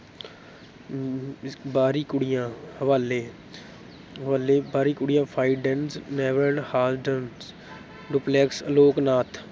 ਬਾਹਰੀ ਕੁੜੀਆਂ, ਹਵਾਲੇ ਹਵਾਲੇ, ਬਾਹਰੀ ਕੁੜੀਆਂ ਡੁਪਲੈਕਸ ਅਲੋਕਨਾਥ